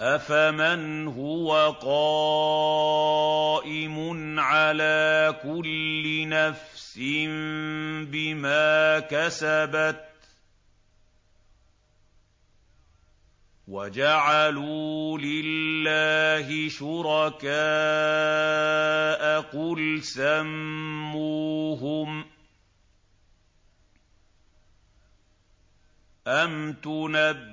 أَفَمَنْ هُوَ قَائِمٌ عَلَىٰ كُلِّ نَفْسٍ بِمَا كَسَبَتْ ۗ وَجَعَلُوا لِلَّهِ شُرَكَاءَ قُلْ سَمُّوهُمْ ۚ أَمْ تُنَبِّئُونَهُ